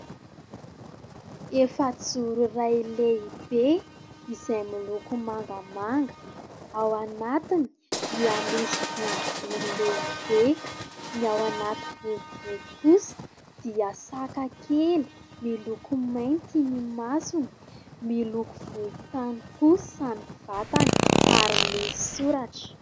Efazoro iray lehibe izay miloko mangamanga ao anatiny, dia misy boribory lehibe. Ny ao anatiny boribory kosa dia saka kely miloko mainty ny masony, miloko volotany kosa ny vatany ary misy soratra.